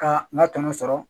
Ka n ka tɔnɔ sɔrɔ